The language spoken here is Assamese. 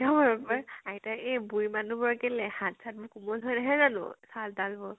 পাই আইতাইক এই বুঢ়ী মানুহ হাত চাত বোৰ কোমল হৈ নাহে জানো? ছাল তাল বোৰ।